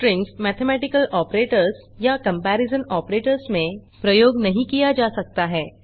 strings mathematical operators या comparison operators में प्रयोग नहीं किया जा सकता है